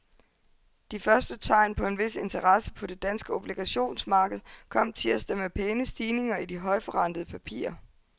De første tegn på en vis interesse på det danske obligationsmarked kom tirsdag med pæne stigninger i de højtforrentede papirer.